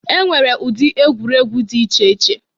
E nwere ụdị egwuregwu dị iche iche.